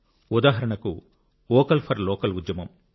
ఉదాహరణకు vocal for local ఉద్యమం